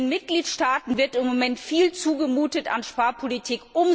Den Mitgliedstaaten wird im Moment viel zugemutet an Sparpolitik.